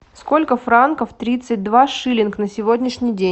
сколько франков тридцать два шиллинг на сегодняшний день